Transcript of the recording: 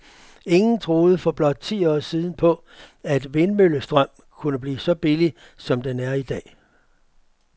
Ingen troede for blot ti år siden på, at vindmøllestrøm kunne blive så billig som den er i dag.